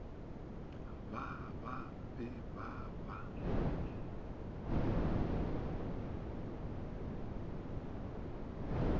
ba ba be ba ba